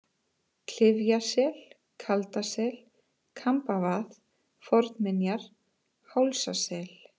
Klyfjasel, Kaldasel, Kambavað Fornminjar, Hálsasel